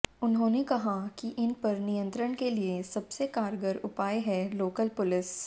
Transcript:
उन्होंने कहा कि इन पर नियंत्रण के लिए सबसे कारगर उपाय है लोकल पुलिस